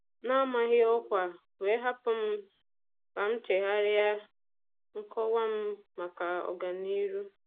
Ọ bịara n'amaghị ọkwa, wee hapụ m ka m chegharịa nkọwa m maka ọga niru.